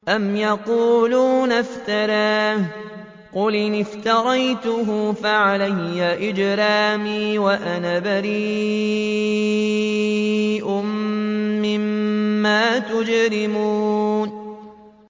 أَمْ يَقُولُونَ افْتَرَاهُ ۖ قُلْ إِنِ افْتَرَيْتُهُ فَعَلَيَّ إِجْرَامِي وَأَنَا بَرِيءٌ مِّمَّا تُجْرِمُونَ